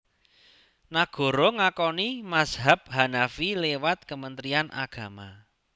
Nagara ngakoni mazhab Hanafi liwat Kementrian Agama